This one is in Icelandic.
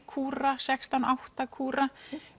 kúra sextán átta kúra